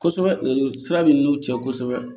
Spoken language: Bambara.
Kosɛbɛ len don sira min cɛ kosɛbɛ